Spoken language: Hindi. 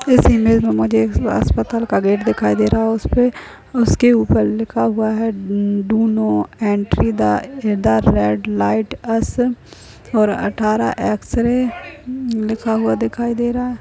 इस इमेज छवि में एक अस्पताल का गेट दरवाजा दिखाई दे रहा है उसके ऊपर लिखा हुआ है डू दो नोट नहीं एंट्री प्रवेश ध तुमको ईधर रेड लाल लाइट रोशनी अस हम और अठारह अठारह एक्सरे लिखा हुआ दिखाई दे रहा है।